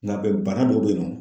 Nga bɛ bana dɔ bɛ yen nɔ